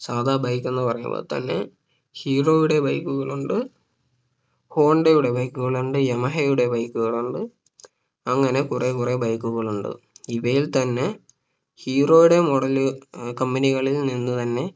സാധാ Bike എന്ന് പറയുമ്പോ തന്നെ ഹീറോയുടെ bike കൾ ഉണ്ട് ഹോണ്ടയുടെ bike കളുണ്ട് യമഹയുടെ Bike കളുണ്ട് അങ്ങനെ കുറേ കുറെ bike കളുണ്ട് ഇവയിൽ തന്നെ ഹീറോയുടെ model ലുകൾ company കളിൽ നിന്നു തന്നെ